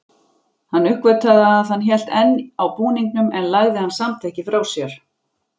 Hann uppgötvaði að hann hélt enn á búningnum en lagði hann samt ekki frá sér.